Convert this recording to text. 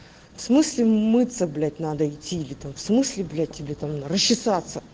в смысле мыться блять надо идти или там в смысле блять тебе там на расчесаться